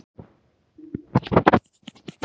Það er ómissandi að hafa hann